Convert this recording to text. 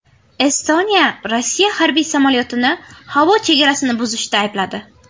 Estoniya Rossiya harbiy samolyotini havo chegarasini buzishda aybladi.